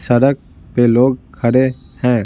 सड़क पे लोग खड़े हैं।